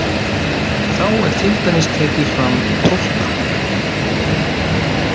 Þá er til dæmis tekið fram í XII.